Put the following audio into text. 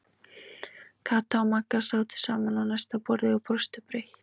Kata og Magga sátu saman á næsta borði og brostu breitt.